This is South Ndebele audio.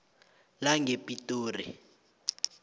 langepitori